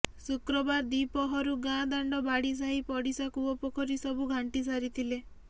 ଶୁକ୍ରବାର ଦିପହରୁ ଗାଁ ଦାଣ୍ଡ ବାଡ଼ି ସାହି ପଡ଼ିଶା କୂଅ ପୋଖରୀ ସବୁ ଘାଣ୍ଟି ସାରିଥିଲେ